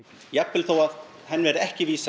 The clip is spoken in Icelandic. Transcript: jafnvel þó að henni verði ekki vísað